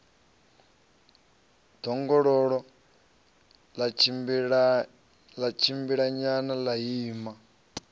ḓongololo ḽa tshimbilanyana ḽa ima